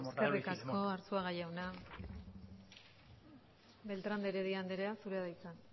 eskerrik asko arzuaga jauna beltrán de heredia andrea zurea da hitza